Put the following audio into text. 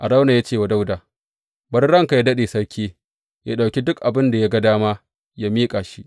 Arauna ya ce wa Dawuda, Bari ranka yă daɗe, sarki yă ɗauki duk abin da ya ga dama yă miƙa shi.